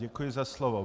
Děkuji za slovo.